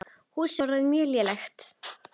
Húsið var orðið mjög lélegt.